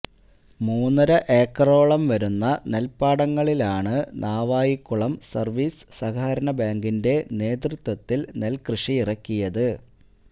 മൂന്നര ഏക്കറോളം വരുന്ന നെൽപ്പാടങ്ങളിലാണ് നാവായിക്കുളം സർവീസ് സഹകരണ ബാങ്കിന്റെ നേതൃത്വത്തിൽ നെൽകൃഷിയിറക്കിയത്